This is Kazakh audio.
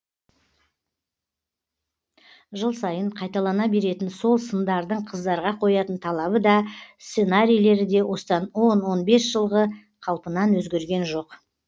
жыл сайын қайталана беретін сол сындардың қыздарға қоятын талабы да сценарийлері де осыдан он он бес жылғы қалпынан өзгерген жоқ